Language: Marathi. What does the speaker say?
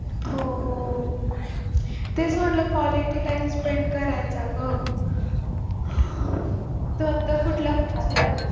हो तेच म्हटलं quality time spent करायचा गं तू आता कुठला